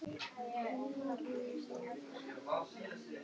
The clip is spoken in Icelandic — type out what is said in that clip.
Hins vegar skorti alveg þekkingu á röðun kirna í keðjunum.